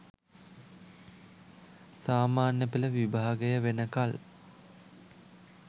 සාමාන්‍ය පෙළ විභාගය වෙනකල්